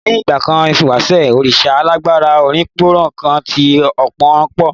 Ní ìgbà ìwàṣẹ̀, òrìṣà alágbára obinron kan tí ọ̀pọ̀ ń bọ.